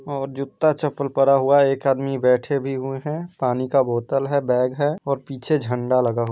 ओर जुत्ता चप्पल परा हुआ एक आदमी बैठे भी हुए है पानी का बोतल है बैग है और पीछे झंडा लगा हुआ --